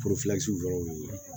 yɔrɔw